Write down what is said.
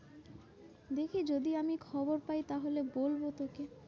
দেখি যদি আমি খবর পাই তাহলে বলবো তোকে।